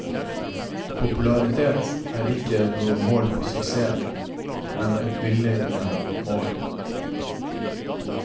Popularitet er ikke noe mål på suksess, men et villedende mål.